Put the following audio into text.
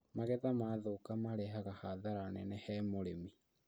Magetha maathũka marehega hathara nene he mũrĩmi